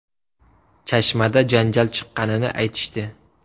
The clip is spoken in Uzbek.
Chashmada janjal chiqqanini aytishdi.